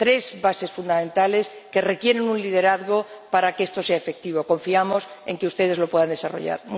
Tres bases fundamentales que requieren un liderazgo para que esto sea efectivo. Confiamos en que ustedes lo puedan desarrollar.